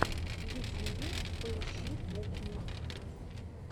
в ютьюбе поищи кухню